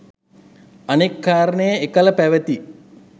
අනෙක් කාරණය එකල පැවැති